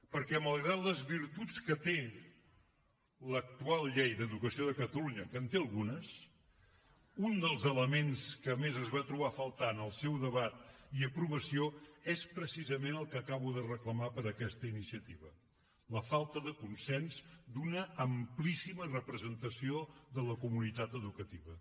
perquè malgrat les virtuts que té l’actual llei d’educació de catalunya que en té algunes un dels elements que més es va trobar a faltar en el seu debat i aprovació és precisament el que acabo de reclamar per a aquesta iniciativa la falta de consens d’una amplíssima representació de la comunitat educativa